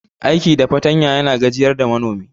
Aiki da fartanya yana gajiyar da manomi.